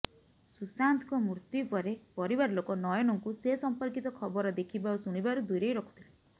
ସୁଶାନ୍ତଙ୍କ ମୃତ୍ୟୁ ପରେ ପରିବାର ଲୋକ ନୟନଙ୍କୁ ସେସମ୍ପର୍କିତ ଖବର ଦେଖିବା ଓ ଶୁଣିବାରୁ ଦୂରେଇ ରଖୁଥିଲେ